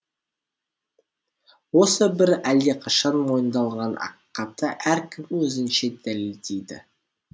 осы бір әлдеқашан мойындалған ақиқатты әркім өзінше дәлелдейді